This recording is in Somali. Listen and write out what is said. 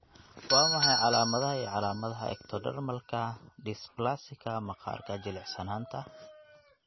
Waa maxay calaamadaha iyo calaamadaha Ectodermalka dysplasika maqaarka jilicsanaanta?